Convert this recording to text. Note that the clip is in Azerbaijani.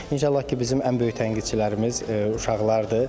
İnşallah ki, bizim ən böyük tənqidçilərimiz uşaqlardır.